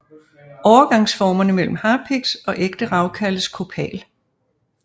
Overgangsformerne mellem harpiks og ægte rav kaldes kopal